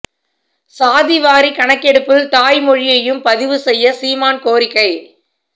சாதி வாரிக் கணக்கெடுப்பில் தாய் மொழியையும் பதிவு செய்ய சீமான் கோரிக்கை